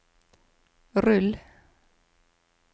rull